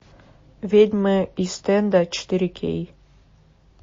ведьмы ист энда четыре кей